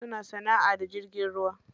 Wasu na sanaʼa da jirgin ruwa.